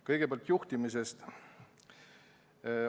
Kõigepealt juhtimisest.